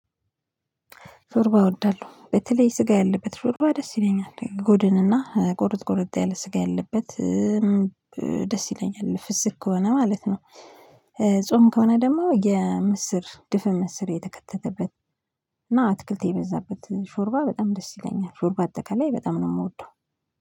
ሾርባ እወዳለሁ በተለይ ስጋ ያለበት ሾርባ ደስ ይለኛል ጎድን እና ጎርድ ጎርድ ያለ ስጋ ያለበት ደስ ይለኛል ፍስክ ከሆነ ማለት ነው። ጾም ከሆነ ደግሞ የምስር ድፍን ምስር የተከተተበት። እና አትክልት የበዛበት ሾርባ በጣም ደስ ይለኛል ሾርባ አጠቃላይ በጣም ነው የምወደው